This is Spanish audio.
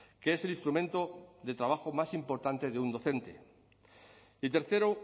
que es el instrumento de trabajo más importante de un docente y tercero